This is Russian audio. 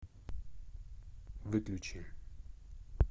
выключи